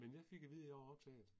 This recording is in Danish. Men jeg fik at vide at jeg var optaget